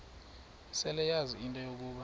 seleyazi into yokuba